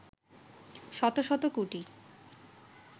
শত শত কোটি